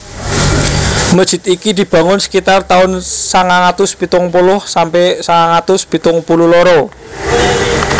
Masjid iki dibangun sekitar tahun sangang atus pitung puluh sampe sangang atus pitung puluh loro